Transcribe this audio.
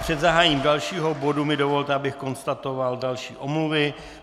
Před zahájením dalšího bodu mi dovolte, abych konstatoval další omluvy.